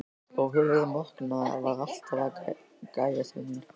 Og höfuðið morkna var alltaf að gægjast til mín.